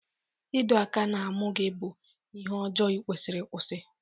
Ịdọ aka na-amụ gị bụ ihe ọjọọ ikwesiri ịkwụsị.